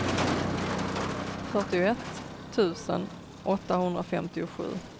fyrtioett tusen åttahundrafemtiosju